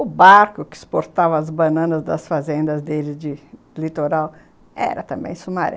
O barco que exportava as bananas das fazendas dele de... de litoral era também Sumaré.